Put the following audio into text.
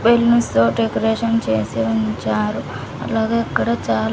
తో డెకరేషన్ చేసి ఉంచారు అలాగే ఇక్కడ చాలా--